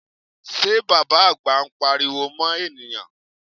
Ṣé Bàbá àgbà ń pariwo mọ́ ènìyàn?